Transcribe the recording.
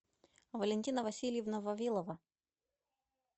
валентина васильевна вавилова